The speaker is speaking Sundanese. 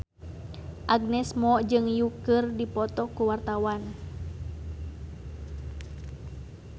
Agnes Mo jeung Yui keur dipoto ku wartawan